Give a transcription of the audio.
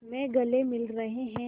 में गले मिल रहे हैं